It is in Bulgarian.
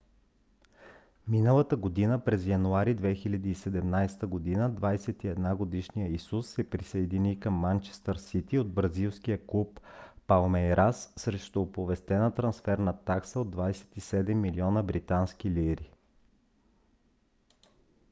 миналата година през януари 2017 година 21 - годишният исус се присъедини към манчестър сити от бразилския клуб палмейрас срещу оповестена трансферна такса от 27 милиона британски лири